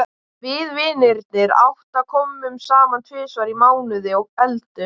Við vinirnir átta komum saman tvisvar í mánuði og eldum.